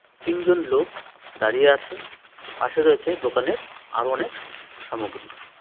তিনজন লোক দাঁড়িয়ে আছে পাশে রয়েছে দোকানের আরো অনেক সামগ্রী.